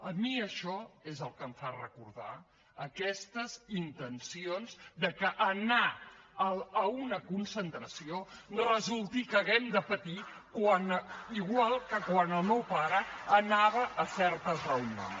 a mi això és el que em fan recordar aquestes intencions que per anar a una concentració resulti que hàgim de patir igual que quan el meu pare anava a certes reunions